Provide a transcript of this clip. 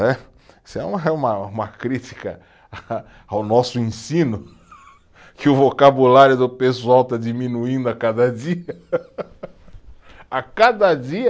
É, isso é uma, é uma, uma crítica a, ao nosso ensino, que o vocabulário do pessoal está diminuindo a cada dia, a cada dia